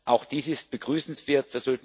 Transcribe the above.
Auch dies ist begrüßenswert.